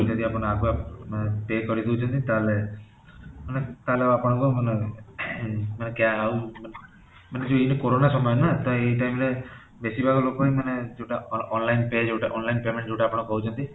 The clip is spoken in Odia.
ଯଦି ଆପଣ ଆଗୁଆ ଅଂ pay କରେଇ ଦେଉଛନ୍ତି ତାହାଲେ ମାନେ ତାହାଲେ ଆଉ ଆପଣକୁ ମାନେ ମାନେ ଆଉ ମାନେ କି ଏ corona ସମୟ ନା ତ ଏ time ରେ ବେଶୀ ଭାଗ ଲୋକ ହିଁ ଯୋଉଟା online pay ଯୋଉଟା online payment ଯୋଉଟା ଆପଣ କହୁଛନ୍ତି